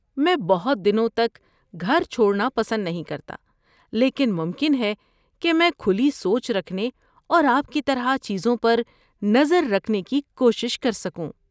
میں بہت دنوں تک گھر چھوڑنا پسند نہیں کرتا لیکن ممکن ہے کہ میں کھلی سوچ رکھنے اور آپ کی طرح چیزوں پر نظر رکھنے کی کوشش کر سکوں۔